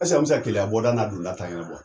an mi se Keleya bɔda n'a donda ta ɲɛna bɔ ?